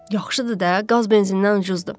Yaxşıdır da, qaz benzindən ucuzdur.